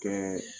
Kɛ